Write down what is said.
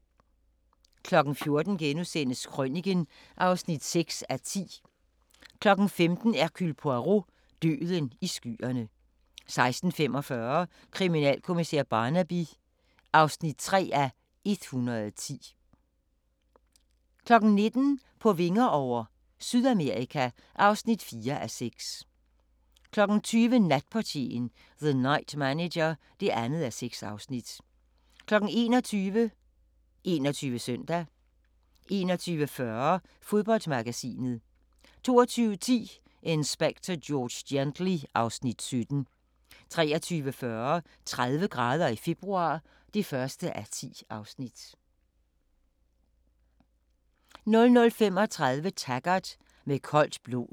14:00: Krøniken (6:10)* 15:00: Hercule Poirot: Døden i skyerne 16:45: Kriminalkommissær Barnaby (3:110) 19:00: På vinger over - Sydamerika (4:6) 20:00: Natportieren - The Night Manager (2:6) 21:00: 21 Søndag 21:40: Fodboldmagasinet 22:10: Inspector George Gently (Afs. 17) 23:40: 30 grader i februar (1:10) 00:35: Taggart: Med koldt blod